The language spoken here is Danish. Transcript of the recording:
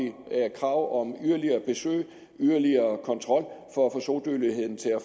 krav om yderligere besøg og yderligere kontrol for at få sodødeligheden til at